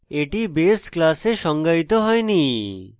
এটি base class সংজ্ঞায়িত হয়নি